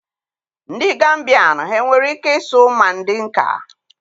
Ndị Gambian há e nwere ike ịsụ Mandinka?